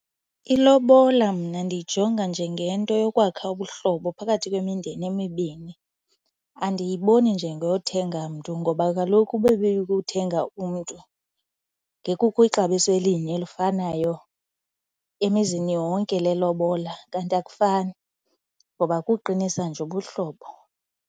Ilobola mna ndiyijonga njengento yokwakha ubuhlobo phakathi kwemindeni emibini. Andiyiboni njee ngothenga mntu ngoba kaloku uba ibikukuthenga umntu ngekukho ixabiso elinye elifanayo emizini yonke lelobola kanti akufani ngoba kukuqinisa nje ubuhlobo.